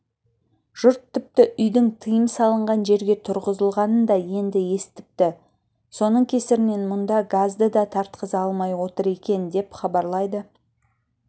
жұрт тіпті үйдің тыйым салынған жерге тұрғызылғанын да енді естіпті соның кесірінен мұнда газды да тартқыза алмай отыр екен деп хабарлайды